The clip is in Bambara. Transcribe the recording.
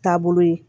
Taabolo ye